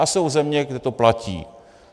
A jsou země, kde to platí.